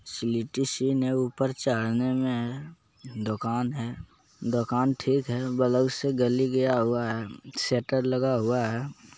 Select इन है ऊपर चढ़ने मे दुकान है दुकान ठीक है बगल से गली गया हुआ है शटर लगा हुआ है।